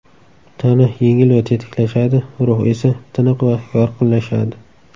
Tana yengil va tetiklashadi, ruh esa, tiniq va yorqinlashadi.